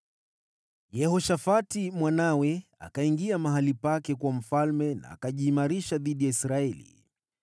Yehoshafati mwanawe akawa mfalme baada yake na akajiimarisha dhidi ya Israeli.